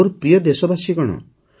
ମୋର ପ୍ରିୟ ଦେଶବାସୀଗଣ